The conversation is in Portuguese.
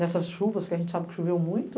Nessas chuvas, que a gente sabe que choveu muito,